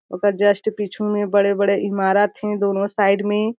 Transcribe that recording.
ओकर जस्ट पीछू में बड़े-बड़े ईमारत हे दोनों साइड में।